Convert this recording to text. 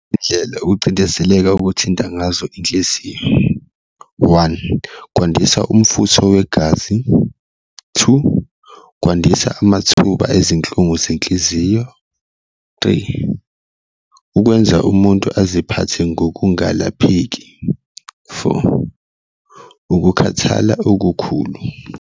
Indlela ukucindezeleka okuthinta ngazo enhliziyo, one, kwandisa umfutho wegazi, two, kwandisa amathuba ezinhlungu zenhliziyo, three, ukwenza umuntu aziphathe ngokungalapheki, four, ukukhathala okukhulu.